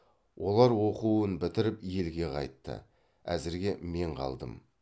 олар оқуын бітіріп елге қайтты әзірге мен қалдым